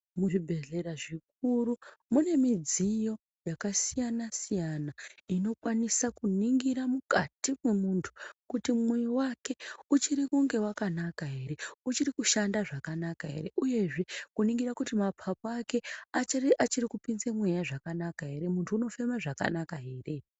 Muzvibhedhlera zvikuru mune midziyo yakasiyana-siyana inokwanisa kuningira mukati mwemuntu kuti mwoyo wake uchiri kunge wakanaka ere, uchiri kushanda zvakanaka ere, uyezve kuningira kuti maphaphu ake achiri kupinze mweya zvakanaka ere, muntu unofema zvakanaka ere.